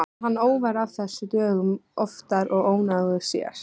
Varð hann óvær af þessu dögum oftar og ónógur sér.